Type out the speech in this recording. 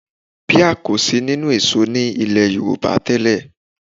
Píà kò sí nínú èso ní ilẹ̀ Yorùbá tẹ́lẹ̀